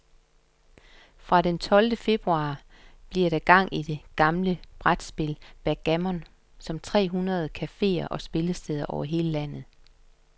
Fra den tolvte februar bliver der gang i det gamle brætspil backgammon på tre hundrede caféer og spillesteder over hele landet.